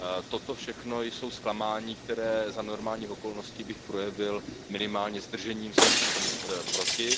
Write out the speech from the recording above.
Toto všechno jsou zklamání, která za normálních okolností bych projevil minimálně zdržením se či hlasováním proti.